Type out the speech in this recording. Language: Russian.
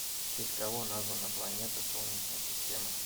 в честь кого названы планеты солнечной системы